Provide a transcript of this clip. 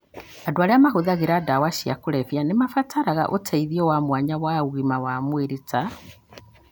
Andũ arĩa mahũthagĩra ndawa cia kũrebia nĩ mabataraga ũteithio wa mwanya wa ũgima wa mwĩrĩ, ta